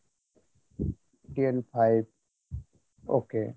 DN five okay